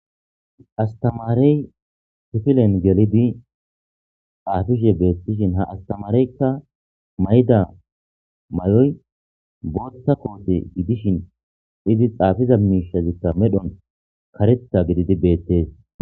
Astamaarey tifilen gelidi aafishe beettishin ha astamareykka mayda mayoy bootta koote gidishin izi xaafiza miishazikka medhon karetha gididi beettees